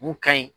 Mun ka ɲi